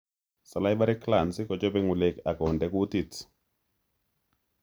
Salivary glands kochobe ng'ulek ako konde kutit